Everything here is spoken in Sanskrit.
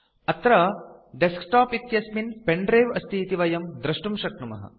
अत्र डेस्कटॉप इत्यस्मिन् pen द्रिवे अस्ति इति वयं दृष्टुं शक्नुमः